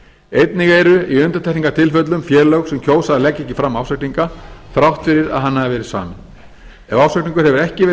einnig eru í undantekningartilfellum félög sem kjósa að leggja ekki fram ársreikning þrátt fyrir að hann hafi verið saminn ef ársreikningur hefur ekki verið